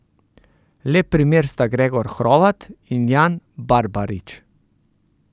Lep primer sta Gregor Hrovat in Jan Barbarič.